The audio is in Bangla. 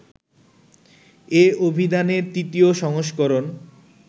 এ অভিধানের ৩য় সংস্করণ